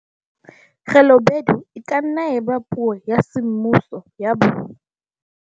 Khelobedu e ka nna ya eba puo ya semmuso ya bo